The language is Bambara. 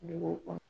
Dugu kɔnɔ